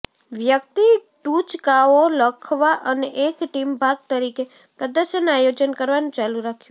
વ્યક્તિ ટુચકાઓ લખવા અને એક ટીમ ભાગ તરીકે પ્રદર્શન આયોજન કરવાનું ચાલુ રાખ્યું